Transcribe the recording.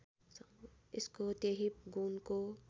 यसको त्यहि गुणको